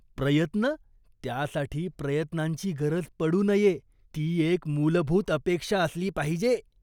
प्रयत्न? त्यासाठी प्रयत्नांची गरज पडू नये, ती एक मूलभूत अपेक्षा असली पाहिजे.